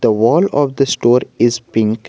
The wall of the store is pink.